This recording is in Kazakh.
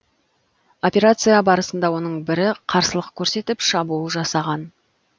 операция барысында оның бірі қарсылық көрсетіп шабуыл жасаған